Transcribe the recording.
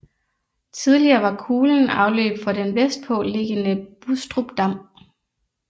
Tidligere var kulen afløb for den vestpå liggende Bustrupdam